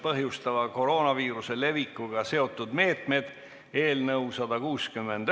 Palun võtta seisukoht ja hääletada!